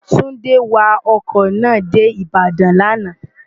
túndé wa ọkọ̀ náà dé ìbàdàn lánàá